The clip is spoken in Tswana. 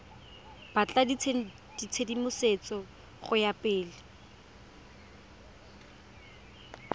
batla tshedimosetso go ya pele